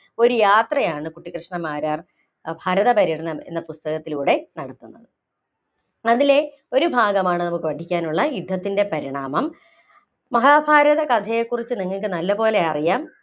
ഒരു യാത്രയാണ് കുട്ടിക്കൃഷ്ണ മാരാർ ഭാരത പര്യടനം എന്ന പുസ്തകത്തിലൂടെ നല്‍കുന്നത് അതിലെ ഒരു ഭാഗമാണ് നമുക്ക് പഠിക്കാനുള്ള യുദ്ധത്തിന്‍റെ പരിണാമം മഹാഭാരത കഥയെക്കുറിച്ച് നിങ്ങള്‍ക്ക് നല്ലപോലെ അറിയാം.